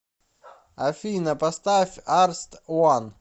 афина поставь арст ван